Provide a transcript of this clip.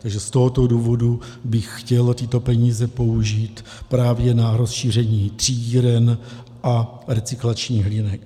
Takže z tohoto důvodu bych chtěl tyto peníze použít právě na rozšíření třídíren a recyklačních linek.